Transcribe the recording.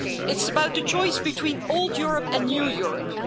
It's about the choice between old Europe and new Europe.